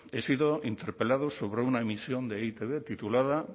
he sido interpelado sobre una emisión de e i te be titulada